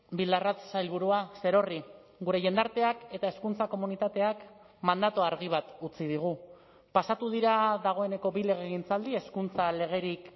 bildarratz sailburua zerorri gure jendarteak eta hezkuntza komunitateak mandatu argi bat utzi digu pasatu dira dagoeneko bi legegintzaldi hezkuntza legerik